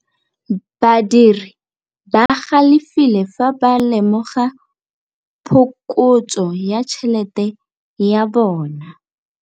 Badiri ba galefile fa ba lemoga phokotsô ya tšhelête ya bone.